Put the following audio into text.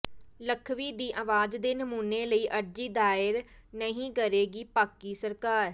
ਲਖਵੀ ਦੀ ਆਵਾਜ਼ ਦੇ ਨਮੂਨੇ ਲਈ ਅਰਜ਼ੀ ਦਾਇਰ ਨਹੀਂ ਕਰੇਗੀ ਪਾਕਿ ਸਰਕਾਰ